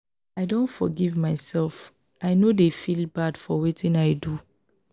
i don forgive mysef i no dey feel bad for wetin i do.